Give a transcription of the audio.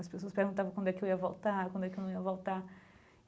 As pessoas perguntavam quando é que eu ia voltar, quando é que eu não ia voltar.